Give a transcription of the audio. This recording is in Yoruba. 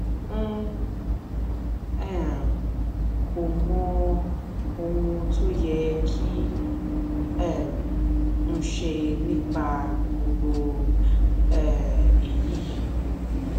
n um kò mọ ohun tó yẹ kí um n ṣe nípa gbogbo um èyí